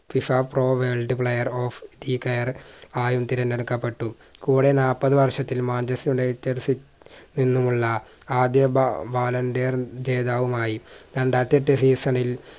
FIFApro world player of the year ആയും തിരഞ്ഞെടുക്കപ്പെട്ടു കൂടെ നാൽപതു വർഷത്തിൽ manchester united city ൽ നിന്നുമുള്ള ആദ്യ ballon d'or ജേതാവുമായി രണ്ടായിരത്തിയെട്ട്‌ season ഇൽ